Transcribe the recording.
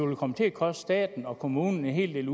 jo komme til at koste staten og kommunerne en hel